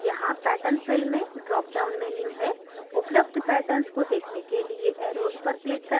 यहाँ pattern fill में drop down menu है उपलब्ध patterns को देखने के लिए arrows पर click करें